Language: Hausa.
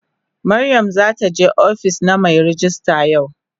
Mariam zata tafi ofis na mai rejista yau.